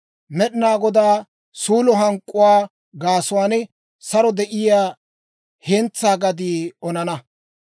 Med'inaa Godaa suulo hank'k'uwaa gaasuwaan saro de'iyaa hentsaa gadii onana.